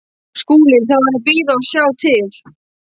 SKÚLI: Þá er að bíða og sjá til.